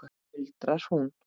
muldrar hún.